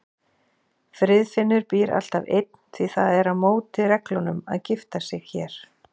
Friðfinnur býr alltaf einn, því það er á móti reglunum að gifta sig hér.